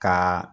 Ka